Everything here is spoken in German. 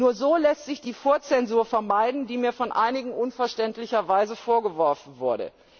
Nur so lässt sich die Vorzensur vermeiden, die mir von einigen unverständlicherweise vorgeworfen wurde.